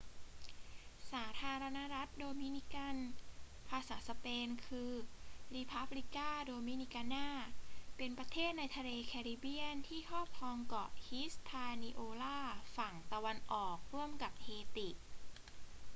สาธารณรัฐโดมินิกัน ภาษาสเปน คือ república dominicana เป็นประเทศในทะเลแคริบเบียนที่ครอบครองเกาะ hispaniola ฝั่งตะวันออกร่วมกับเฮติ